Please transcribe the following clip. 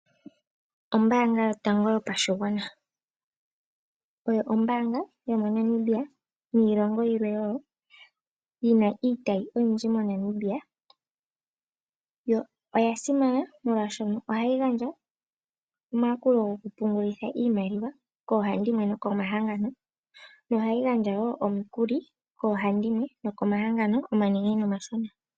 Ombaanga yotango yopashigwana oyo ombaanga yomoNamibia niilongo yilwe wo yina iitayi oyindji moNamibia. Oya simana molwaashono ohayi gandja omayakulo gokupungulitha iimaliwa koohandimwe nokomahangano nohayi gandja wo omikuli koohandimwe nokomahangano omanene nomashona.